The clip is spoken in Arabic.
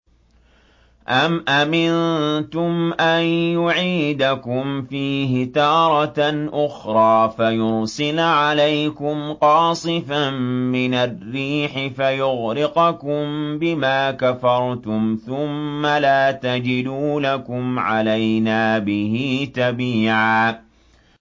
أَمْ أَمِنتُمْ أَن يُعِيدَكُمْ فِيهِ تَارَةً أُخْرَىٰ فَيُرْسِلَ عَلَيْكُمْ قَاصِفًا مِّنَ الرِّيحِ فَيُغْرِقَكُم بِمَا كَفَرْتُمْ ۙ ثُمَّ لَا تَجِدُوا لَكُمْ عَلَيْنَا بِهِ تَبِيعًا